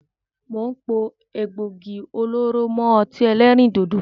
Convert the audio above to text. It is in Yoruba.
Mo ń pò egbògi olóró mọ ọtí ẹlẹ́rìndòdò